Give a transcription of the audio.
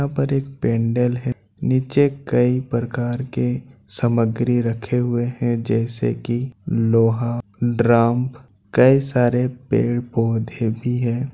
यहाँ पर एक पेंडल है नीचे कई प्रकार के सामग्री रखे हुए हैं जैसे की लोहा ड्रम कई सारे पेड़-पौधे भी है।